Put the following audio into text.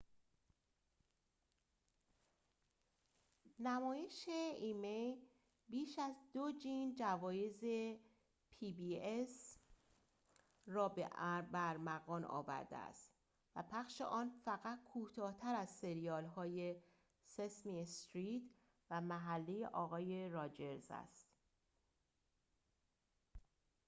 نمایش pbs بیش از دوجین جوایز emmy را به ارمغان آورده است و پخش آن فقط کوتاه‌تر از سریال‌های سسمی استریت و محله آقای راجرز است